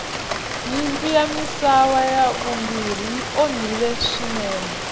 nyimpi ya misava ya vumbirhi yi onhile swinene